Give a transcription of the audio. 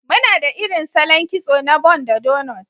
Muna da irin salon kitso na bun da doughnuts.